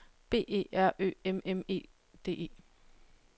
B E R Ø M M E D E